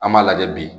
An b'a lajɛ bi